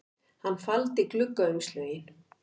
Hann faldi gluggaumslögin